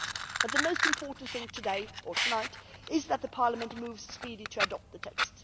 But the most important thing today or tonight is that Parliament moves speedily to adopt the text.